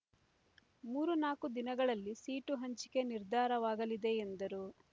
ಮೂರು ನಾಕು ದಿನಗಳಲ್ಲಿ ಸೀಟು ಹಂಚಿಕೆ ನಿರ್ಧಾರವಾಗಲಿದೆ ಎಂದರು